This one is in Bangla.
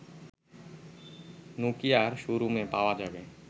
নোকিয়ার শো রুমে পাওয়া যাবে